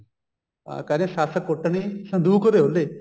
ਹਾਂ ਕਹਿੰਦਾ ਸੱਸ ਕੁੱਟਣੀ ਸੰਦੂਕ ਦੇ ਔਲੇ